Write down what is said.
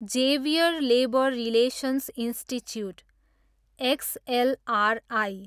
Xavier labour relations institute, XLRI